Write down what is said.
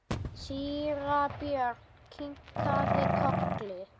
Síra Björn kinkaði kolli.